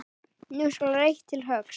Nú skal reitt til höggs.